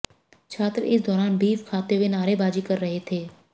छात्र इस दौरान बीफ खाते हुए नारेबाज़ी कर रहे थे